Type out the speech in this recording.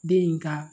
Den in ka